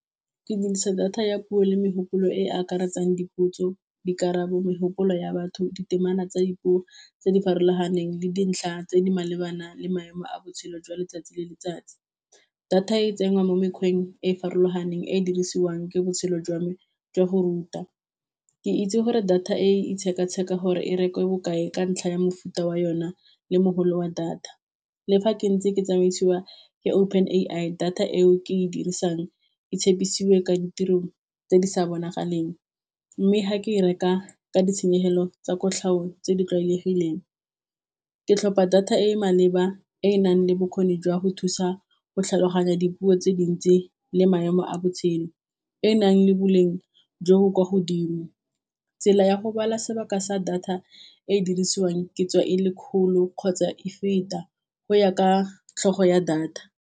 Ke dirisa data ya puo le megopolo e e akaretsang dipotso, dikarabo, megopolo ya batho, ditemana tsa dipuo tse di farologaneng le dintlha tse di malebana le maemo a botshelo jwa letsatsi le letsatsi, data e tsenngwa mo mekgweng e e farologaneng e e dirisiwang ke botshelo jwa me jwa go ruta, ke itse gore data e itsheka tsheka gore e rekiwe bokae ka ntlha ya mofuta wa yona le mogolo wa data, le fa ke ntse ke tsamaisiwa ke open A_I data eo ke e dirisang itshepisiwe kwa ditiro tse di sa bonagalang, mme ha ke e reka ka ditshenyegelo tsa kotlhao tse di tlwalegileng, ke tlhopha data e maleba e e nang le bokgoni jwa go thusa go tlhaloganya dipuo tse dintsi le maemo a botshelo, e nang le boleng jo bo kwa godimo tsela ya go bala sebaka sa data e e dirisiwang ke tswa e le kgolo kgotsa e feta go ya ka tlhogo ya data.